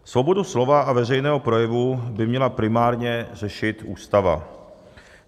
Svobodu slova a veřejného projevu by měla primárně řešit Ústava.